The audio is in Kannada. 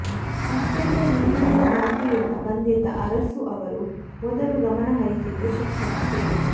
ಅತ್ಯಂತ ಹಿಂದುಳಿದ ಜಾತಿಯಿಂದ ಬಂದಿದ್ದ ಅರಸು ಅವರು ಮೊದಲು ಗಮನಹರಿಸಿದ್ದು ಶಿಕ್ಷಣಕ್ಕೆ